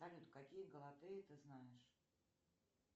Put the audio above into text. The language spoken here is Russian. салют какие галатеи ты знаешь